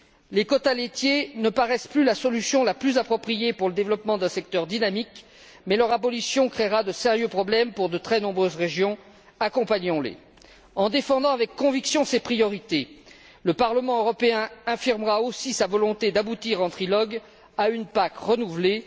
Les quotas laitiers ne paraissent plus la solution la plus appropriée pour le développement d'un secteur dynamique mais leur abolition créera de sérieux problèmes pour de très nombreuses régions. Accompagnons les. En défendant avec conviction ces priorités, le Parlement européen affirmera aussi sa volonté d'aboutir en trilogue à une PAC renouvelée.